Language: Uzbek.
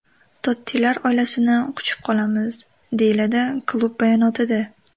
Tottilar oilasini quchib qolamiz”, deyiladi klub bayonotida.